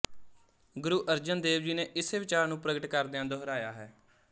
ਗੁਰੂ ਅਰਜਨ ਦੇਵ ਜੀ ਨੇ ਇਸੇ ਵਿਚਾਰ ਨੂੰ ਪ੍ਰਗਟ ਕਰਦਿਆਂ ਦੁਹਰਾਇਆ ਹੈ